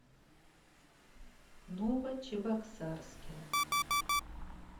новочебоксарске